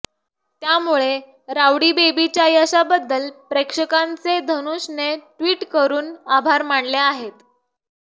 त्यामुळे राउडी बेबीच्या यशाबद्दल प्रेक्षकांचे धनुषने ट्विट करून आभार मानले आहेत